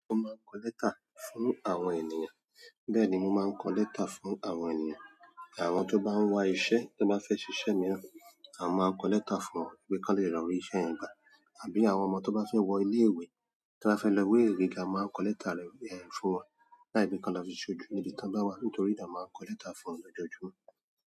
Mo máa ń kọ lẹ́tà fún àwọn ènìyàn bẹ́ẹ̀ni mo máa ń kọ lẹ́tà fún àwọn ènìyàn àwọn tó bá ń wá iṣẹ́, tó bá fẹ́ ṣiṣẹ́ mìíràn, a máa n kọ lẹ́tà fún wọn pe ki wọ́n le lọ rí iṣẹ́ yẹn gbà, àbí àwọn ọmọ tó bá fẹ́ wọ ilé-ìwé, tó bá fẹ́ lọ ilé ìwé gíga, a máa kọ lẹ́tà lọ ibẹyen fún wọn, láì pé kí wọ́n lọ fi ṣojú ni ibi ti wón bá wá. Nítorí nà, a máa ń kọ lẹ́tà fún wọn ní ojoojúmọ́.